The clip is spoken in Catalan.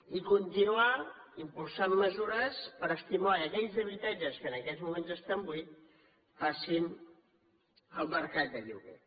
i continuar impulsant mesures per estimular que aquells habitatges que en aquests moments estan buits passin al mercat de lloguer